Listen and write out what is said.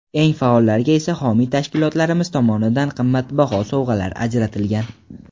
Eng faollarga esa homiy tashkilotlarimiz tomonidan qimmatbaho sovg‘alar ajratilgan.